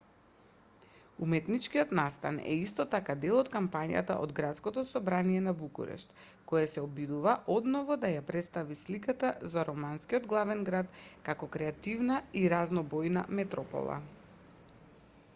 уметничкиот настан е исто така дел од кампањата од градското собрание на букурешт кое се обидува одново да ја претстави сликата за романскиот главен град како креативна и разнобојна метропола